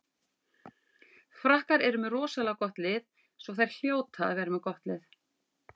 Frakkar eru með rosalega gott lið svo þær hljóta að vera með gott lið.